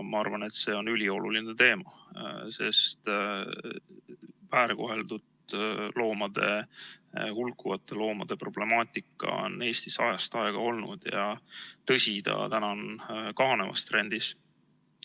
Ma arvan, et see on ülioluline teema, sest väärkoheldud loomade, hulkuvate loomade problemaatika on Eestis ajast aega olnud, tõsi, täna on see kahanevas trendis.